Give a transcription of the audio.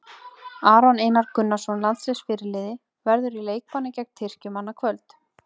Aron Einar Gunnarsson, landsliðsfyrirliði, verður í leikbanni gegn Tyrkjum annað kvöld.